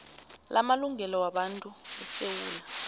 lamalungelo wabantu esewula